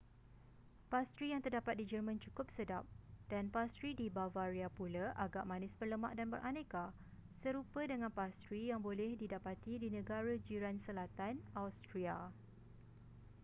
pastri yang terdapat di jerman cukup sedap dan pastri di bavaria pula agak manis berlemak dan beraneka serupa dengan pastri yang boleh didapati di negara jiran selatan austria